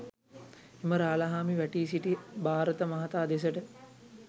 එම රාළහාමි වැටී සිටි භාරත මහතා දෙසට